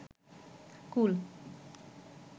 কুল